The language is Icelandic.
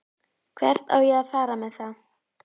Hvert á ég að fara með það?